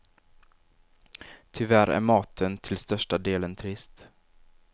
Tyvärr är maten till största delen trist.